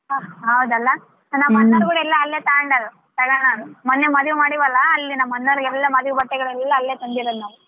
ಹಾ ಹೌದಲ್ಲ ನಮ್ ಅಣ್ಣಾರ್ ಕೂಡಾ ಎಲ್ಲಾ ಅಲ್ಲೆ ತಗೊಂಡಾರ ಮನ್ನೆ ಮದಿವಿ ಮಾಡಿವಲಾ ಅಲ್ಲಿ ನಮ್ ಅಣ್ಣಾರಿಗ ಮದಿವಿ ಬಟ್ಟೆಗಳೆಲ್ಲ ಅಲ್ಲೇ ತಂದಿರೋದು ನಾವು.